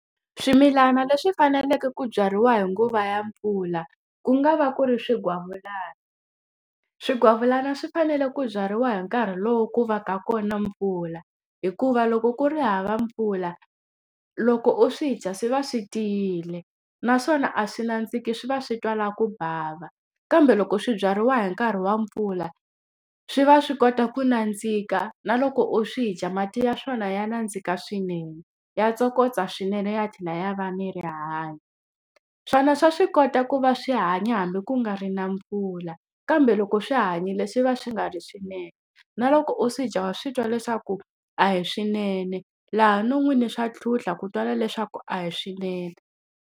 Swimilana leswi faneleke ku byariwa hi nguva ya mpfula, ku nga va ku ri swigwavulani. Swigwavulani swi fanele ku byariwa hi nkarhi lowu ku va ka kona mpfula, hikuva loko ku ri hava mpfula loko u swi dya swi va swi tiyile. Naswona a swi nandziki swi va swi twa la ku bava. Kambe loko swi byariwa hi nkarhi wa mpfula, swi va swi kota ku nandzika na loko u swi dya mati ya swona ya nandzika swinene, ya tsokombela swinene ya tlhela ya va ni rihanyo. Swona swa swi kota ku va swi hanya hambi ku nga ri na mpfula, kambe loko swi hanyile swi va swi nga ri swinene. Na loko u swi dya swi twa leswaku a hi swinene, laha no n'wini swa tlhuntlha ku twala leswaku a hi swinene.